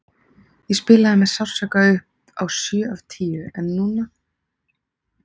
Ég spilaði með sársauka upp á sjö af tíu en núna?